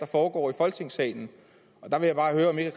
foregår i folketingssalen der vil jeg bare høre om ikke